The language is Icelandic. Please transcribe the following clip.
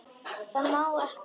Það má ekki.